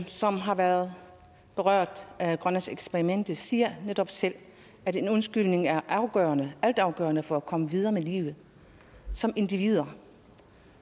som har været berørt af grønlandseksperimentet siger netop selv at en undskyldning er altafgørende for at komme videre med livet som individer